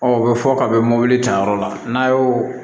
Ɔ o bɛ fɔ ka bɛ mobili ta yɔrɔ la n'a y'o